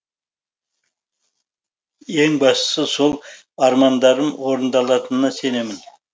ең бастысы сол армандарым орындалатынына сенемін